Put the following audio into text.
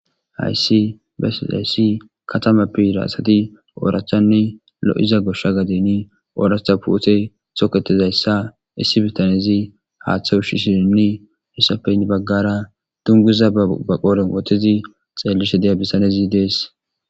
hayssi bae hayssi katama pira asati oorachanne lo7iza goshsha gadeni oorahtha puute soketizayssa issi bitanezi haaththe ushi shininni issafeynn baggara dunguza abaqoren wootizi xeellishe deya bissanezi dees